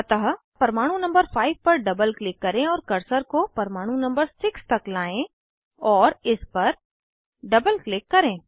अतः परमाणु नंबर 5 पर डबल क्लिक करें और कर्सर को परमाणु नंबर 6 तक लाएं और इस पर डबल क्लिक करें